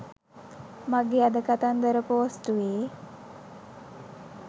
මගේ අද කතන්දර පෝස්ටුවේ